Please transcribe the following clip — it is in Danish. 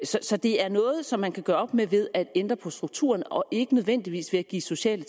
så det er noget som man kan gøre op med ved at ændre på strukturen og ikke nødvendigvis ved at give sociale